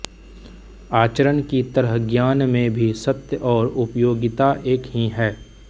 आचरण की तरह ज्ञान में भी सत्य और उपयोगिता एक ही हैं